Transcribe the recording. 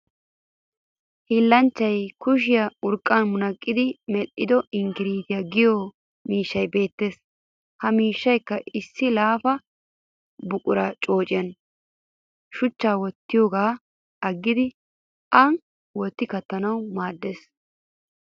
Hiillanchchatu kushiyan urqqaa munaqqidi medhdhido inkirttaa giyo miishshay beettes. Ha miishshayikka issi laafa buquraa coociya shuchchan wottiyoogan aggidi an wottidi kattanawu maaddes.